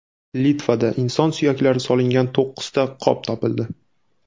Litvada inson suyaklari solingan to‘qqizta qop topildi.